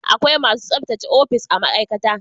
Akwai masu tsabtace ofis a ma'aikata